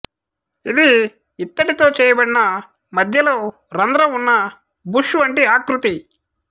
ఇది ఇత్తడితో చేయబడిన మధ్యలో రంధ్రంవున్న బుష్ వంటి ఆకృతి